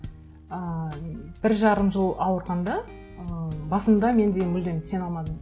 ыыы бір жарым жыл ауырғанда ыыы басында мен де мүлдем сене алмадым